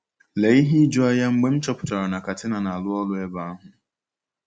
Lee ihe ijuanya mgbe m chọpụtara na Katina na-arụ ọrụ ebe ahụ!